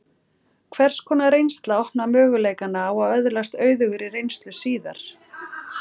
Hvers konar reynsla opnar möguleikana á að öðlast auðugri reynslu síðar?